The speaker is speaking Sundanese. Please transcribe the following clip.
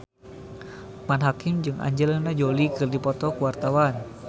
Loekman Hakim jeung Angelina Jolie keur dipoto ku wartawan